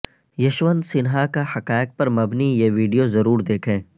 یشونت سنہا کا حقائق پر مبنی یہ ویڈیوضرور دیکھیں